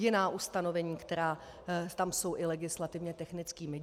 Jiná ustanovení, která tam jsou i legislativně technickými.